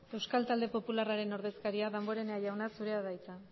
euskal talde popularraren ordezkaria damborenea jauna zurea da hitza